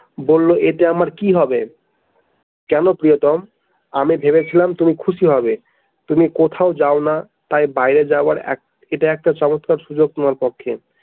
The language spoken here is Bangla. বলল এতে আমার কি হবে? কেন প্রিয়তম আমি ভেবেছিলাম তুমি খুশি হবে তুমি কোথাও যাওনা তাই বাইরে যাওয়ার এক এটা একটা চমৎকার সুযোগ তোমার পক্ষে।